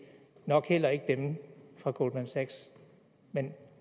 nok heller ikke dem fra goldman sachs men